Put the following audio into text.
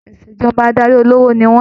Ìṣèjọba adarí olówó ni wọn.